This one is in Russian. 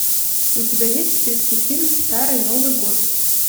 у тебя есть в списке фильм старый новый год